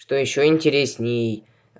что ещё интересней